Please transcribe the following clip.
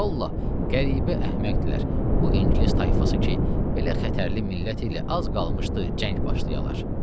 Vallahi, qəribə əhməkdirlər bu İngilis tayfası ki, belə xətərli millət ilə az qalmışdı cəng başlayalar.